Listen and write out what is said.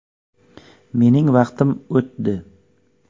Mening vaqtim o‘tdi.